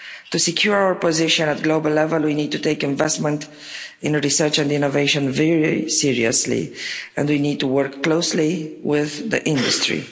To secure our position at global level, we need to take investment in research and innovation very seriously, and we need to work closely with the industry.